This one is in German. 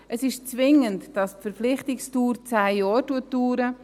Es ist , dass die Verpflichtungsdauer zehn Jahre dauert.